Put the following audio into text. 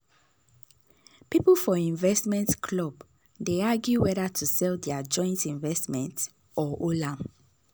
people for investment club dey argue whether to sell their joint investment or hold am.